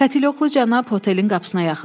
Katelyoklu cənab otelin qapısına yaxınlaşdı.